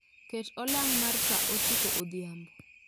Ket olang' mar saa ochiko odhiambo